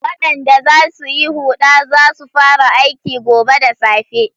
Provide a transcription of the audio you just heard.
Waɗanda za su yi huɗa za su fara aiki gobe da safe.